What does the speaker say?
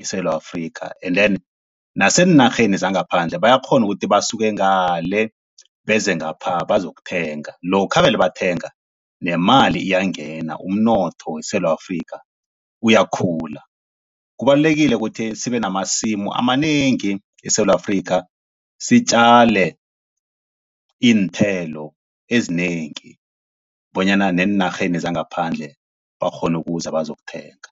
eSewula Afrika, and then naseenarheni zangaphandle bayakghona ukuthi basuke ngale beze ngapha bazokuthenga lokha vele bathenga nemali iyangena, umnotho weSewula Afrika, uyakhula. Kubalulekile kuthi sibe namasimu amanengi eSewula Afrika, sitjale iinthelo ezinengi bonyana neenarheni zangaphandle bakghone ukuza bazokuthenga.